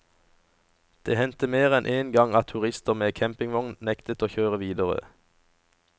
Det hendte mer enn en gang at turister med campingvogn nektet å kjøre videre.